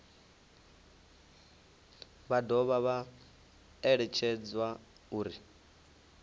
vha dovha vha eletshedzwa uri